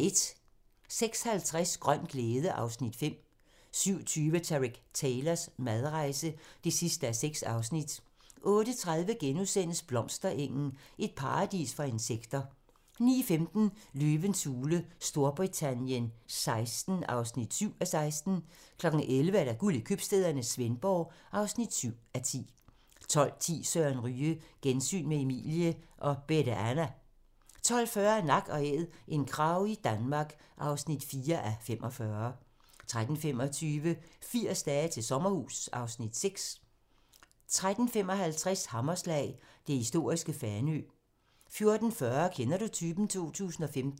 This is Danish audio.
06:50: Grøn glæde (Afs. 5) 07:20: Tareq Taylors madrejse (6:6) 08:30: Blomsterengen - et paradis for insekter * 09:15: Løvens hule Storbritannien XVI (7:16) 11:00: Guld i købstæderne - Svendborg (7:10) 12:10: Søren Ryge: Gensyn med Emilie og Bette Anna 12:40: Nak & æd - en krage i Danmark (4:45) 13:25: 80 dage til sommerhus (Afs. 6) 13:55: Hammerslag - det historiske Fanø 14:40: Kender du typen? 2015